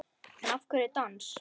En af hverju dans?